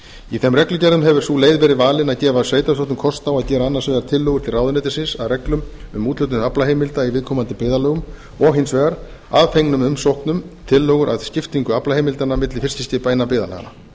í þeim reglugerðum hefur sú leið verið valin að gefa sveitarstjórnum kost á að gera annars vegar tillögur til ráðuneytisins að reglum um úthlutun aflaheimilda í viðkomandi byggðarlögum og hins vegar að fengnum umsóknum tillögur að skiptingu aflaheimildanna milli fiskiskipa innan byggðarlaganna